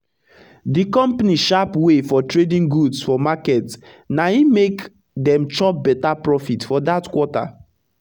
d compani sharp way for trading goods for market na e make dem chop beta profit for dat quarter